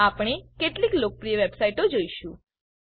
આપણે કેટલીક લોકપ્રિય વેબસાઈટો જોઈશું